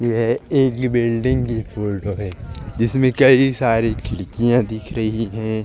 यह एक ही बिल्डिंग की फोटो है जिसमे कई सारी खिड़किया दिख रही है।